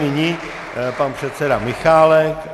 Nyní pan předseda Michálek.